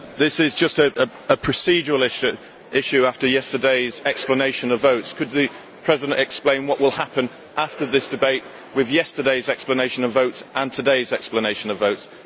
Mr President, this is just a procedural issue after yesterday's explanation of votes. Could the President explain what will happen after this debate with yesterday's explanation of votes and today's explanation of votes?